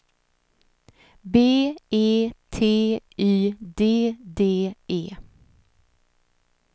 B E T Y D D E